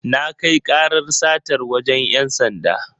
Na kai karar satar wajen ‘yan sanda.